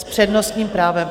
S přednostním právem.